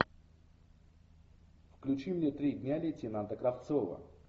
включи мне три дня лейтенанта кравцова